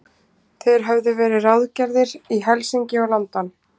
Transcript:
Þeir höfðu verið ráðgerðir í Helsinki og London.